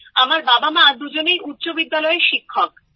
আমার বাবামা দুজনেই উচ্চ বিদ্যালয়ের শিক্ষক